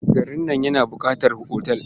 Garin nan yana buƙatar otal.